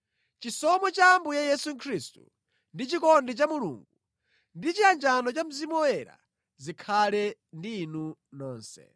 Chisomo cha Ambuye Yesu Khristu, ndi chikondi cha Mulungu, ndi chiyanjano cha Mzimu Woyera zikhale ndi inu nonse.